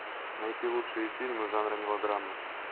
найти лучшие фильмы жанра мелодрама